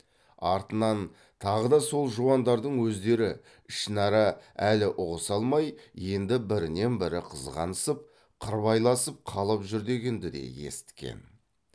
артынан тағы да сол жуандардың өздері ішін ара әлі ұғыса алмай енді бірінен бірі қызғанысып қырбайласып қалып жүр дегенді де есіткен